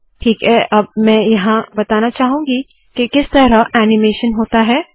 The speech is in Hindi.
ठीक है अब मैं यहाँ बताना चाहूंगी के किस तरह ऐनीमेशन होता है